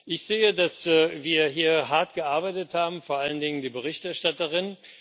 Ich sehe, dass wir hier hart gearbeitet haben, vor allen Dingen die Berichterstatterin.